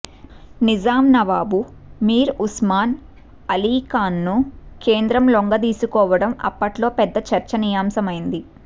నిజాం నవాబు మీర్ ఉస్మాన్ అలీఖాన్ను కేంద్రం లొంగదీసుకోవడం అప్పట్లో పెద్ద చర్చనీయాంశమైంది